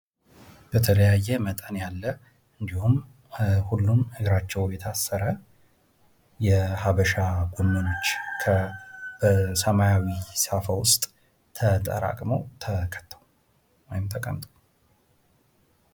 በተለያየ መጠን ያለ እንዲሁም እግራቸው የታሰረ የሀበሻ ጎመኖች ከሰማያዊ ሳፋ ውስጥ ተጠራቅመዉ፣ ተከተው፣ ተቀምጠው።